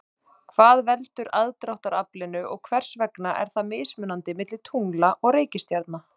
Hvað veldur aðdráttaraflinu og hvers vegna er það mismunandi milli tungla og reikistjarna?